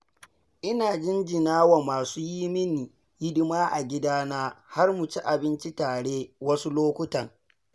Ina jinjina wa masu yi min hidima a gidana har mu ci abinci tare wasu lokutan.